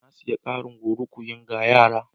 Na sayi ƙarin klorokuwin ga yara.